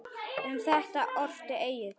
Um þetta orti Egill